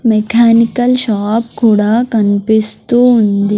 Mechanical shop కూడా కన్పిస్తూ ఉంది.